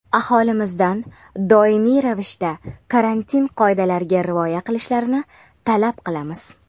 aholimizdan doimiy ravishda karantin qoidalariga rioya qilishlarini talab qilamiz.